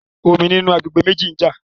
Omi nínú àgbègbè méjì ń jà